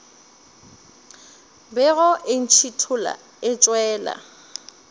bego e ntšhithola e tšwela